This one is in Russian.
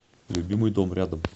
любимый дом рядом